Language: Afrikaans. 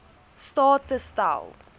staat te stel